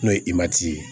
N'o ye ye